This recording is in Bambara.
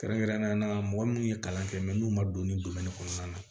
Kɛrɛnkɛrɛnnenya la mɔgɔ minnu ye kalan kɛ mɛ n'u ma don ni kɔnɔna na